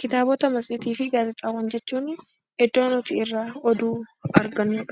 Kitaabota matseetii fi gaazexaawwan jechuun iddoo nuti irraa oduu argannudha